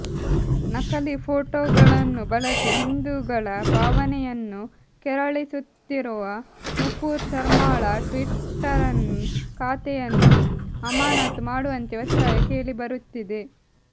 ನಕಲಿ ಫೋಟೊಗಳನ್ನು ಬಳಸಿ ಹಿಂದೂಗಳ ಭಾವನೆಯನ್ನು ಕೆರಳಿಸುತ್ತಿರುವ ನೂಪುರ್ ಶರ್ಮಾಳ ಟ್ವಿಟ್ಟರ್ ಖಾತೆಯನ್ನು ಅಮಾನತು ಮಾಡುವಂತೆ ಒತ್ತಾಯ ಕೇಳಿಬರುತ್ತಿದೆ